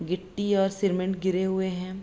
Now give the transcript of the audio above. गिट्टी और सीमेंट गिरे हुए है।